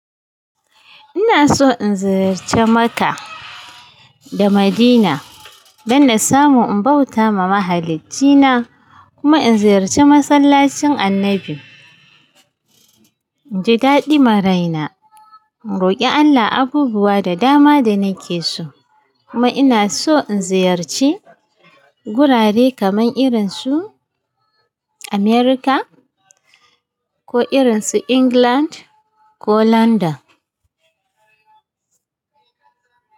Ina so in ziyarci Makka da Madina don in samu in bauta ma mahaliccin na kuma in ziyarci masallacin annabi. Ji daɗi maraina, in roki Allah abubuwa da dama da nake so kuma ina so in ziyarci gurare kaman irin su America ko irin su England ko London.